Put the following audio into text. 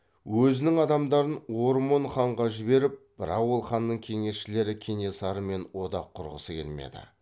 өзінің адамдарын ормон ханға жіберіп бірақ ол ханның кеңесшілері кенесарымен одақ құрғысы келмеді